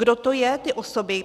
Kdo to jsou ty osoby?